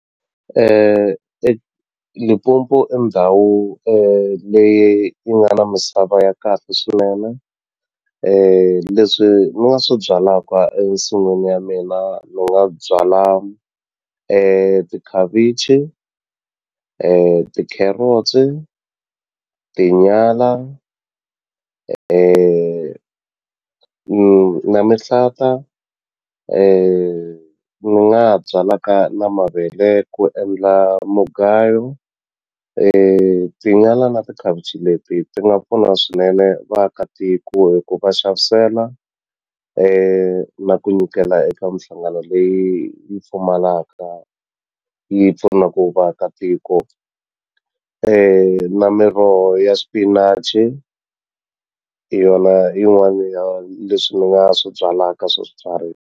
Limpopo i ndhawu leyi yi nga na misava ya kahle swinene leswi ni nga swi byalaka ensin'wini ya mina ni nga byala tikhavichi tikherotsi, tinyala na mihlata ni nga ha byalaka na mavele ku endla mugayo tinyala na tikhavichi leti ti nga pfuna swinene vaakatiko hi ku va xavisela na ku nyikela eka minhlangano leyi yi pfumalaka yi pfunaku vaakatiko na miroho ya swipinachi hi yona yin'wana ya leswi ni nga swi byalaka swa swibyariwa.